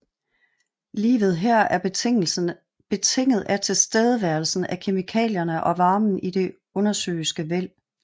Livet her er betinget af tilstedeværelsen af kemikalierne og varmen i det undersøiske væld